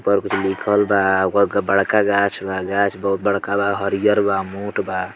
ऊपर कुछ लिखल बा ऊपर बड़का गाछ बा गाछ बहुत बड़का बा हरियर बा मोठ बा।